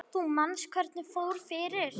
Þú manst hvernig fór fyrir